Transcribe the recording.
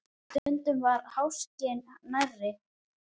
Og stundum var háskinn nærri.